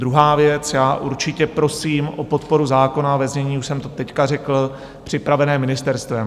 Druhá věc - já určitě prosím o podporu zákona ve znění, už jsem to teď řekl, připraveném ministerstvem.